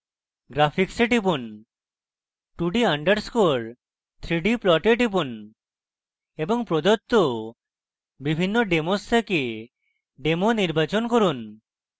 graphics a টিপুন 2d _ 3d plots টিপুন এবং প্রদত্ত বিভিন্ন demos থেকে demo demo নির্বাচন করুন